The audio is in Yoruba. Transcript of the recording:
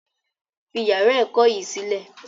Fi yàrá ẹ̀kọ́ yìí sílẹ̀!